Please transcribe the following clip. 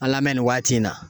An lamɛn nin waati in na